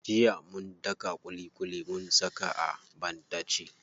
Jiya mun daka ƙuliƙuli mun saka a banɗace.